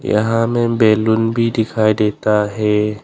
यहां में बैलून भी दिखाई देता हैं।